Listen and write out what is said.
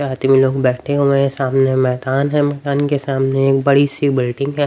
में लोग बैठे हुए हैं सामने मैदान है मैदान के सामने एक बड़ी सी बिल्डिंग है.